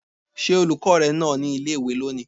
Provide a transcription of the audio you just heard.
Ṣé olùkọ́ rẹ nà ọ ní ilé-ìwé lónìí?